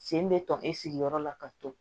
Sen bɛ tɔɔnin sigiyɔrɔ la ka to